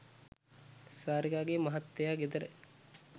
සාරිකාගේ මහත්තයා ගෙදර